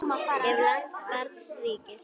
Ef. lands barns ríkis